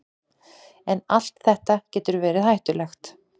En allt þetta getur verið hættulegt.